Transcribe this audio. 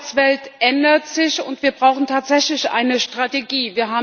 Die Arbeitswelt ändert sich, und wir brauchen tatsächlich eine Strategie.